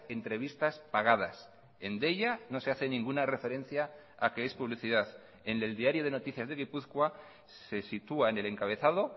entrevistas pagadas en deia no se hace ninguna referencia a que es publicidad en el diario de noticias de gipuzkoa se sitúa en el encabezado